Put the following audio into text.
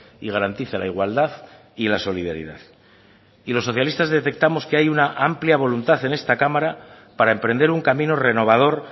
y garantice la igualdad y la solidaridad y los socialistas detectamos que hay una amplia voluntad en esta cámara para emprender un camino renovador